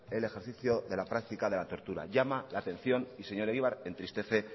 el ejercicio de práctica de la tortura llama la atención y señor egibar entristece